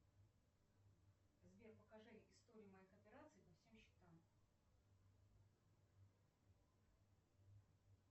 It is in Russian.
сбер покажи историю моих операций по всем счетам